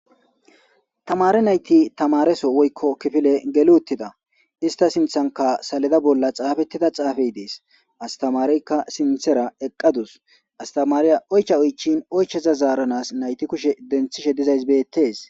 Tamare nayti tamareso woykko kifile geluttida ista sinthanka saleda bolla xaafettida xaafey dees astamareykka sinthera eqqadus astamariya oycha oychin oycheza zaaranas nayti kushe denthishe dizays beettes.